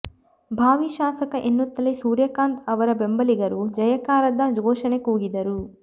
ಭಾವಿ ಶಾಸಕ ಎನ್ನುತ್ತಲೇ ಸೂರ್ಯಕಾಂತ ಅವರ ಬೆಂಬಲಿಗರು ಜಯಕಾರದ ಘೋಷಣೆ ಕೂಗಿದರು